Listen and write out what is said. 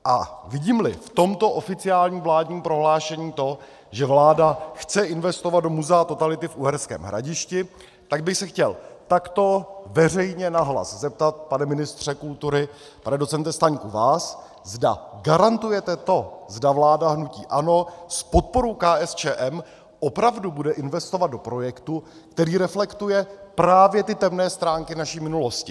A vidím-li v tomto oficiálním vládním prohlášení to, že vláda chce investovat do Muzea totality v Uherském Hradišti, tak bych se chtěl takto veřejně nahlas zeptat, pane ministře kultury, pane docente Staňku, vás, zda garantujete to, zda vláda hnutí ANO s podporou KSČM opravdu bude investovat do projektu, který reflektuje právě ty temné stránky naší minulosti.